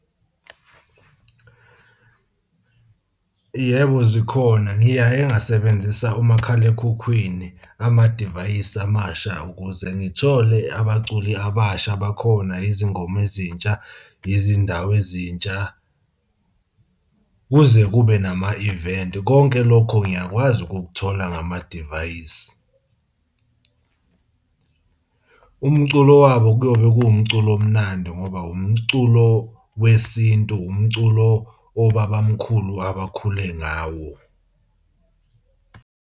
Yebo, zikhona ngiyaye ngasebenzisa umakhalekhukhwini, amadivayisi amasha ukuze ngithole abaculi abasha abakhona, izingoma ezintsha, izindawo ezintsha, kuze kube nama-event. Konke lokho ngiyakwazi ukukuthola ngamadivayisi. Umculo wabo kuyobe kuwumculo omnandi, ngoba umculo wesintu, umculo wobabamkhulu abakhule ngawo.